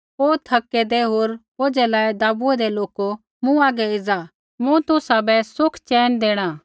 हे थकै दै होर बोझ़ै लाइया दबुऐ दै लोको मूँ हागै एज़ा मूँ तुसाबै सुख चैन देणा